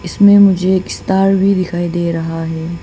इसमें मुझे एक स्टार भी दिखाई दे रहा है।